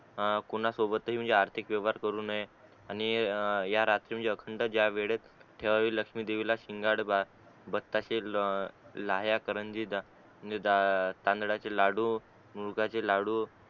हा कुना सोबत आर्थिक व्यवहार करू नये आणि ए या रात्री अखंड जा वेळेत ठेवावे या लक्ष्मी देवीला शिंगाड बत्ताशे ल लाया कारंजी ने तांदळाचे लाडू उडदाचे लाडू